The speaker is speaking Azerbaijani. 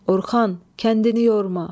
Orxan, kəndini yorma.